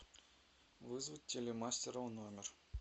вызвать телемастера в номер